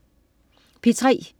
P3: